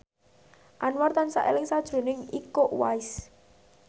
Anwar tansah eling sakjroning Iko Uwais